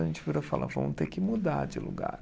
A gente virou e falou, vamos ter que mudar de lugar.